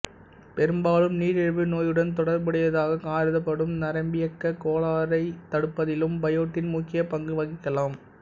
பெரும்பாலும் நீரிழிவு நோயுடன் தொடர்புடையதாகக் கருதப்படும் நரம்பியக்கக் கோளாறைத் தடுப்பதிலும் பயோட்டின் முக்கியப் பங்கு வகிக்கலாம்